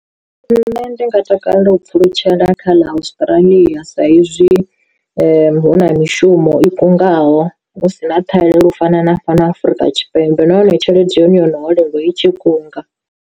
Nṋe ndi nga takalela u pfhulutshela kha ḽa Australi sa izwi hu na mishumo i kungaho hu si na ṱhahelelo u fana na fhano Afrika Tshipembe nahone tshelede ya hone yo no holela i tshi kunga.